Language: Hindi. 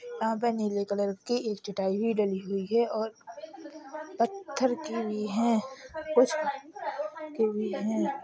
यहां पे नीले कलर कि एक चटाई भी डली हुई है और पत्थर की भी हैं कुछ की भी हैं।